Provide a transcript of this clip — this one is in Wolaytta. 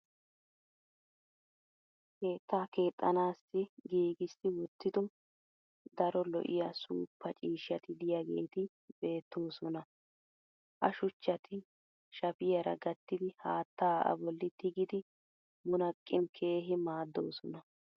keettaa keexxanaassi giigissi wottido daro lo'iya suuppa ciishshati diyaageeti beetoosona. ha shuchchati shappiyaara gattidi haattaa a boli tiggidi munaqqin keehi maadoosona.